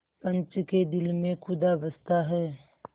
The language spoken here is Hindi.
पंच के दिल में खुदा बसता है